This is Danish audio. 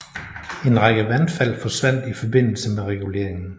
En række vandfald forsvandt i forbindelse med reguleringen